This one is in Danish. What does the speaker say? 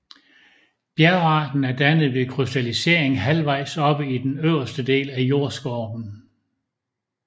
Bjergarten er dannet ved krystallisering halvvejs oppe i den øverste del af jordskorpen